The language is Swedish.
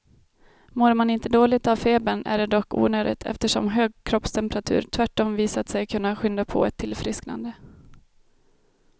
Mår man inte dåligt av febern är det dock onödigt, eftersom hög kroppstemperatur tvärtom visat sig kunna skynda på ett tillfrisknande.